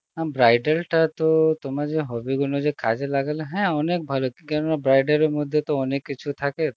হম bridal টা তো তোমার যে hobby গুনো যে কাজে লাগালে হ্যাঁ অনেক ভালো, কেন না bridal এর মধ্যে তো অনেক কিছু থাকে